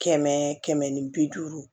Kɛmɛ kɛmɛ ni bi duuru